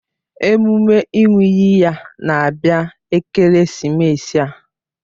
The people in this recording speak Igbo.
Emume ịṅụ iyi ya na-abịa ekeresimesi a